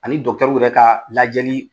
Ani dɔkitɔriw yɛrɛ ka lajɛli